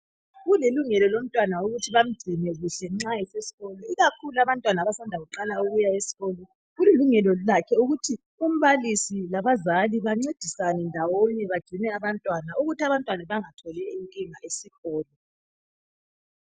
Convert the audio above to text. Kulilungelo lomntwana ukuthi bamgcine kuhle nxa esesikolo ikakhulu abantwana abasanda kuqala isikolo kulilungelo lakhe ukuthi umbalisi labazali bancedisane ndowonye bangcine abantwana ukuthi abantwana bengatholi inkinga esikolo.